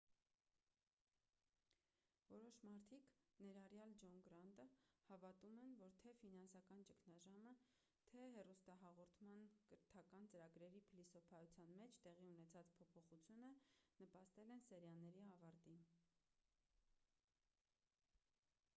որոշ մարդիկ ներառյալ ջոն գրանտը հավատում են որ թե ֆինանսական ճգնաժամը թե հեռուստահաղորդման կրթական ծրագրերի փիլիսոփայության մեջ տեղի ունեցած փոփոխությունը նպաստել են սերիաների ավարտին